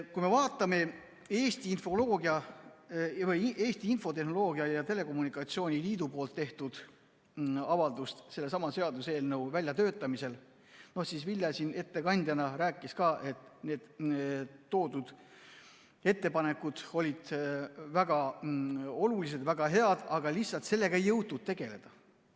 Kui me vaatame Eesti Infotehnoloogia ja Telekommunikatsiooni Liidu tehtud avaldust sellesama seaduseelnõu väljatöötamisel, siis Vilja ettekandjana rääkis ka, et need toodud ettepanekud olid väga olulised, väga head, aga lihtsalt sellega ei jõutud tegeleda.